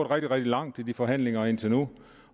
rigtig langt i de forhandlinger indtil nu